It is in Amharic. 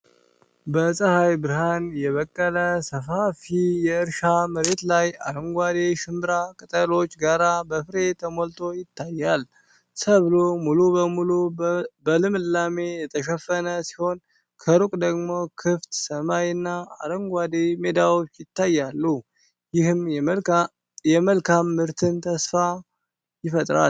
በፀሐይ ብርሃን የበቀለ ሰፋፊ የእርሻ መሬት ላይ አረንጓዴ ሽንብራ ከቅጠሎቹ ጋር በፍሬ ተሞልቶ ይታያል። ሰብሉ ሙሉ በሙሉ በልምላሜ የተሸፈነ ሲሆን፣ ከሩቅ ደግሞ ክፍት ሰማይ እና አረንጓዴ ሜዳዎች ይታያሉ፤ ይህም የመልካም ምርትን ተስፋ ይፈጥራል።